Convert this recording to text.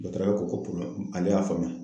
Dɔtɔrɔya ko ale y'a faamuya.